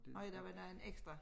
Nå ja der var da en ekstra